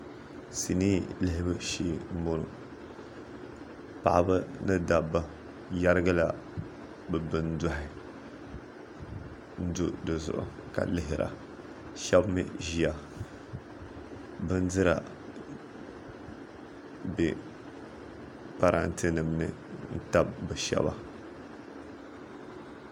sinii lihibu shee m-bɔŋɔ paɣiba ni dabba yɛrigila bɛ bindohi n-do di zuɣu ka lihira shɛba mi ʒia bindira be parantenima ni n-tabi bɛ shɛba